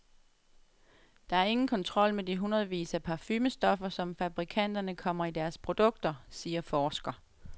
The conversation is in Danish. Der er ingen kontrol med de hundredvis af parfumestoffer, som fabrikanterne kommer i deres produkter, siger forsker.